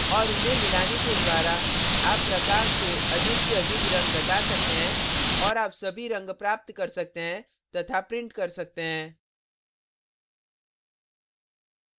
और उन्हें मिलाने के द्वारा आप प्रकाश से अधिक से अधिक रंग घटा सकते हैं और आप सभी रंग प्राप्त कर सकते हैं तथा print कर सकते हैं